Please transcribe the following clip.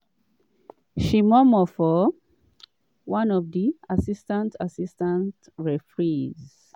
she murmur for one of di assistant assistant referees.